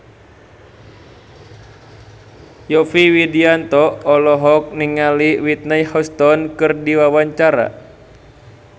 Yovie Widianto olohok ningali Whitney Houston keur diwawancara